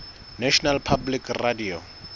national public radio